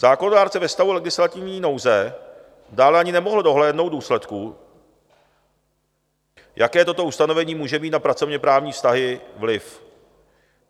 Zákonodárce ve stavu legislativní nouze dále ani nemohl dohlédnout důsledků, jaké toto ustanovení může mít na pracovněprávní vztahy vliv.